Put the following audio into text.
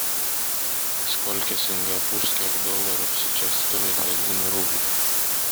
сколько сингапурских долларов сейчас стоит один рубль